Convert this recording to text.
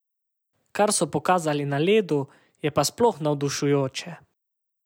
Kar so pokazali na ledu, je pa sploh navdušujoče.